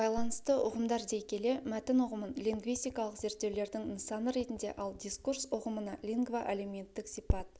байланысты ұғымдар дей келе мәтін ұғымын лингвистикалық зерттеулердің нысаны ретінде ал дискурс ұғымына лингвоәлеуметтік сипат